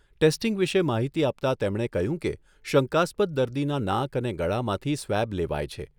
Testing વિશે માહિતી આપતા તેમણે કહ્યું કે, શંકાસ્પદ દર્દીના નાક અને ગળામાંથી સ્વેબ લેવાય છે.